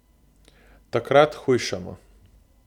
Takrat hujšamo!